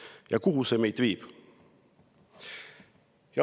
Ja kuhu see meid viib?